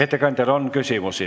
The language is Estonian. Ettekandjale on küsimusi.